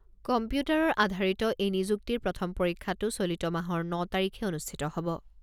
কম্পিউটাৰৰ আধাৰিত এই নিযুক্তিৰ প্ৰথম পৰীক্ষাটো চলিত মাহৰ ন তাৰিখে অনুষ্ঠিত হ'ব।